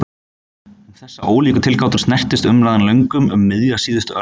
Um þessar ólíku tilgátur snerist umræðan löngum um miðja síðustu öld.